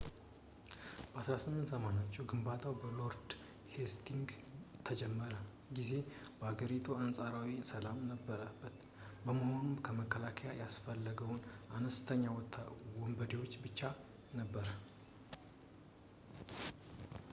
በ1480ዎቹ ግንባታው በሎርድ ሄስቲንግስ በተጀመረ ጊዜ በሀገሪቱ አንፃራዊ ሰላም የነበረበት በመሆኑ መከላከያ ያስፈለገው ለአነስተኛ ወንበዴዎች ብቻ ነበር